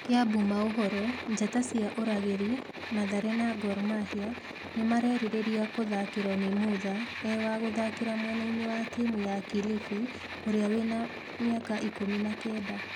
(Kiambu maũhoro) Njata cia Ũragĩri, Mathare na Gor Mahia nĩmarerirĩria kũthakĩro ni mũtha i wa gũthakĩra mwenaĩnĩ wa timũ ya Kilifi ũrĩa wĩ na mĩaka ikũmi na kenda.